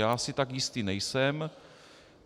Já si tak jistý nejsem.